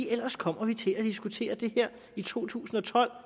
ellers kommer vi til at diskutere det her i to tusind og tolv